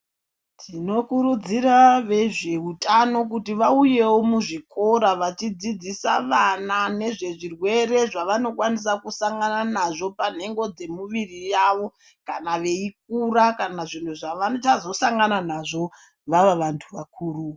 Tinokurudzira vezveutano kuti vauyewo muzvikora vachidzidzisa vana nezvezvirwere zvavanokwanisa kusangana nazvo panhengo dzemuviri yavo kana veikura kana zvinhu zvavachazosangana nazvo vava vantu vakuru.